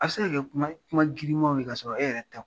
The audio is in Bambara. A bɛ se ka kuma ye, kuma girinmaw ye, ka sɔrɔ e yɛrɛ tɛ.